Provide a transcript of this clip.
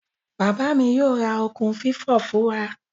Baba mi yoo ra okun fifo fun wa.